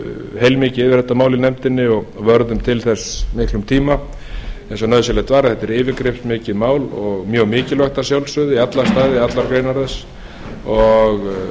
heilmikið yfir þetta mál í nefndinni og vörðum til þess miklum tíma eins og nauðsynlegt var þetta er yfirgripsmikið mál og mjög mikilvægt að sjálfsögðu í alla staði allar greinar þess og